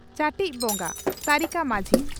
ᱪᱟᱹᱴᱤᱡ ᱵᱚᱸᱜᱟ (ᱥᱟᱹᱨᱤᱠᱟ ᱢᱟᱹᱡᱷᱤ)